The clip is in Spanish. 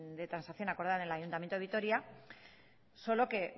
de transacción acordada en el ayuntamiento de vitoria solo que